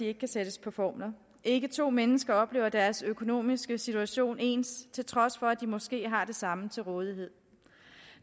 ikke kan sættes på formler ikke to mennesker oplever deres økonomiske situation ens til trods for at de måske har det samme til rådighed